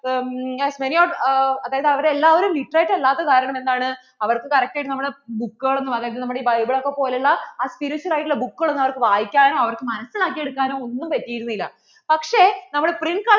അതായത് അവര് എല്ലാവരും literate അല്ലാത്ത കാരണം എന്താണ് അവര്‍ക്ക് correct ആയിട്ട് നമ്മളെ book കൾ ഒന്നും അതായത് നമ്മള്‍ടെ ഈ Bible ഒക്കെ പോലെ ഉള്ള ആ spiritual ആയിട്ട് ഉള്ള book കള്‍ ഒന്നും വായിക്കാ നോ അവർക്കു മനസിലാക്കി എടുക്കാനോ ഒന്നും പറ്റിരുന്നില്ല പക്ഷേ നമ്മള്‍ടെ print culture